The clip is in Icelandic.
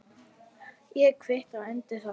Ég kvitta undir það.